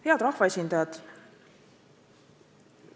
Head rahvaesindajad!